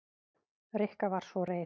Rikka var svo reið.